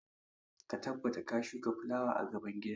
Ka tabbata ka shuka fulawa a gaban gida!